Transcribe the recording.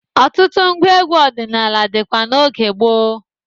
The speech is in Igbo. Ọtụtụ ngwa egwu ọdịnala dịkwa n'oge gboo.